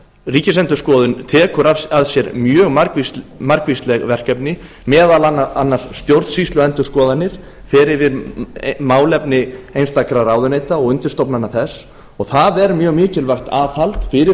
ríkisendurskoðun tekur að sér mjög margvísleg verkefni meðal annars stjórnsýsluendurskoðanir fer yfir málefni einstakra ráðuneyta og undirstofnana þeirra og það er mjög mikilvægt aðhald fyrir